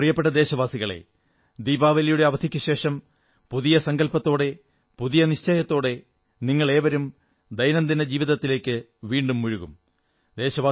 എന്റെ പ്രിയപ്പെട്ട ദേശവാസികളേ ദീപാവലിയുടെ അവധിക്കുശേഷം പുതിയ സങ്കല്പത്തോടെ പുതിയ നിശ്ചയത്തോടെ നിങ്ങളേവരും ദൈനംദിന ജീവിതത്തിലേക്ക് വീണ്ടും മുഴുകും